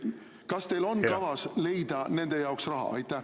Kas teil on kavas leida nende jaoks raha?